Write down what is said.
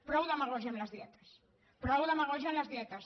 prou demagògia amb les dietes prou demagògia amb les dietes